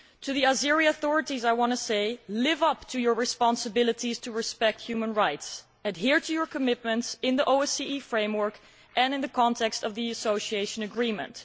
To the Azeri authorities I want to say Live up to your responsibilities to respect human rights, and adhere to your commitments in the OSCE framework and in the context of the Association Agreement.